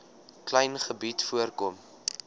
klein gebied voorkom